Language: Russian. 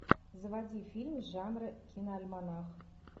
заводи фильм жанра киноальманах